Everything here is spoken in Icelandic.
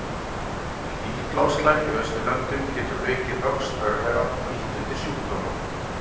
Hlýtt loftslag í Austurlöndum getur aukið vöxt örvera og ýtt undir sjúkdóma.